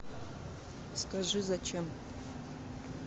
скажи зачем